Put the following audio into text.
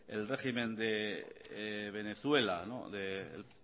el régimen de venezuela del